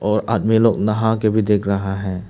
और आदमी लोग नहा के भी देख रहा है।